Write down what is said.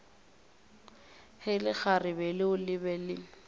ge lekgarebe leo le be